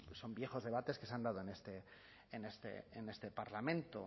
son viejos debates que se han dado en este parlamento